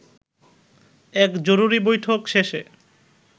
এক জরুরী বৈঠক শেষে